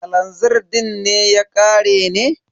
Kalazir din ne ya ƙare ne?